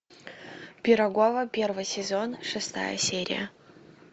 пирогова первый сезон шестая серия